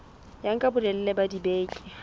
ya nka bolelele ba dibeke